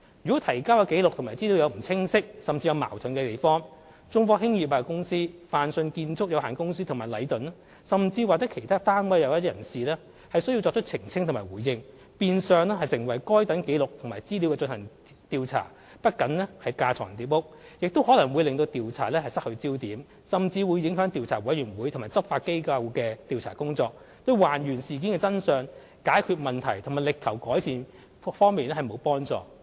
如果提交的紀錄和資料有不清晰甚至有矛盾之處，中科、泛迅和禮頓甚或其他單位或人士便需作出澄清和回應，變相成為就該等紀錄和資料進行調查，不僅是架床疊屋，亦可能會令調查失去焦點，甚至會影響調查委員會及執法機構的調查工作，對還原事件的真相、解決問題及力求改善各方面沒有幫助。